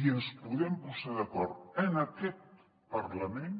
i ens podem posar d’acord en aquest parlament